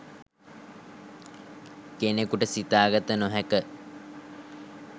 කෙනකුට සිතා ගත නො හැක.